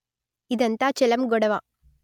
ఇదంతా చెలం గొడవ